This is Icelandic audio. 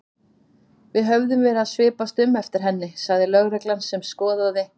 Við höfum verið að svipast um eftir henni sagði lögreglan sem skoðaði